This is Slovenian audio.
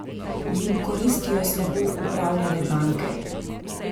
Jim koristijo slabo upravljane banke?